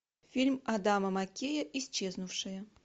фильм адама маккея исчезнувшие